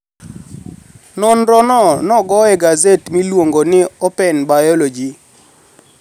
nonirono no ogo e gaset miluonigo nii Openi Biology.